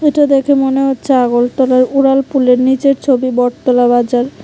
এটা দেখে মনে হচ্ছে উড়ালপুলের নিচের ছবি বটতলা বাজার।